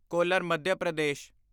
collar Madhya Pradesh